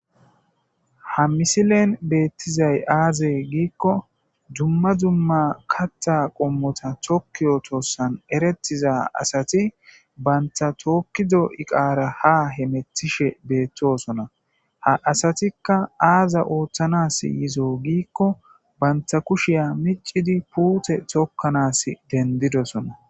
ha misilen beettizay aaze giikko dumma dumma katta qommota tokkiyo toossan eretiza asati banta tookkido7i qaara ha hemetishe beettosona ha asatikka aaza ooththanas yizo giikko banta kushiya micidi puute tokkanas dendidosona